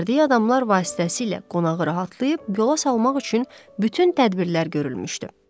Göndərdiyi adamlar vasitəsilə qonağı rahatlayıb yola salmaq üçün bütün tədbirlər görülmüşdü.